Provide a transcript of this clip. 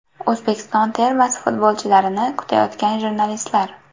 O‘zbekiston termasi futbolchilarini kutayotgan jurnalistlar.